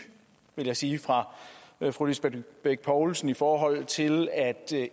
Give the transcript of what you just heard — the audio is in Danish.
vil jeg sige fra fru lisbeth bech poulsen i forhold til at